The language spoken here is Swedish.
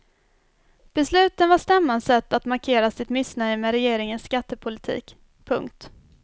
Besluten var stämmans sätt att markera sitt missnöje med regeringens skattepolitik. punkt